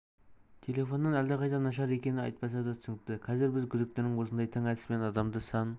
телефоннан әлдеқайда нашар екені айтпаса да түсінікті қазір біз күдіктінің осындай тың әдіспен адамды сан